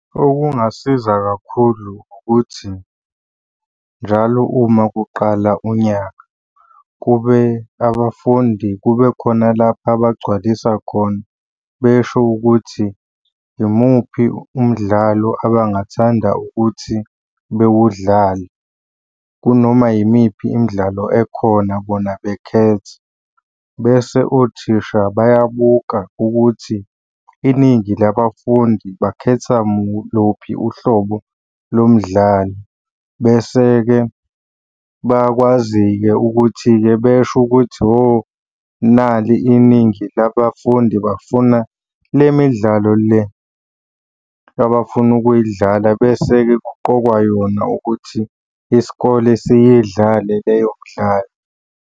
Okungasiza kakhulu ukuthi, njalo uma kuqala unyaka kube abafundi kube khona lapha abagcwalisa khona. Besho ukuthi imuphi umdlalo abangathanda ukuthi bewudlale, kunoma yimiphi imidlalo ekhona bona bekhethe. Bese othisha bayabuka ukuthi iningi labafundi bakhetha luphi uhlobo lomdlalo. Bese-ke bayakwazi-ke ukuthi-ke besho ukuthi hho nali iningi labafundi bafuna le midlalo le abafuna ukuyidlala, bese-ke kuqokwa yona ukuthi isikole siyidlale leyo mdlalo.